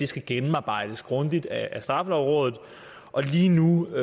skal gennemarbejdes grundigt af straffelovrådet og lige nu